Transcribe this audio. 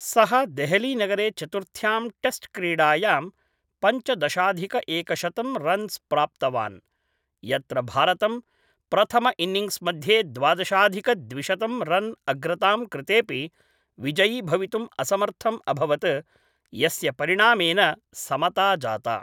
सः देहलीनगरे चतुर्थ्यां टेस्ट्क्रीडायां पञ्चदशाधिकएकशतं रन्स् प्राप्तावान्, यत्र भारतं प्रथम इन्निङ्ग्स् मध्ये द्वादशाधिकद्विशतं रन् अग्रतां कृतेपि विजयीभवितुं असमर्थम् अभवत्, यस्य परिणामेन समता जाता।